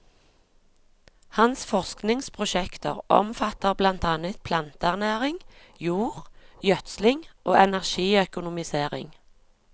Hans forskningsprosjekter omfatter blant annet planteernæring, jord, gjødsling og energiøkonomisering.